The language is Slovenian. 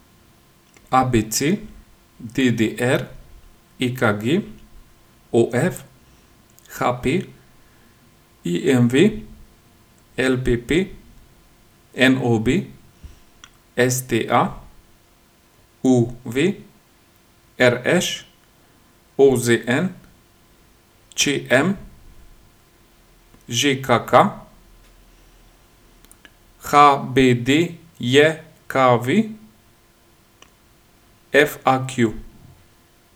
ABC, DDR, EKG, OF, HP, IMV, LPP, NOB, STA, UV, RŠ, OZN, ČM, ŽKK, HBDJKV, FAQ.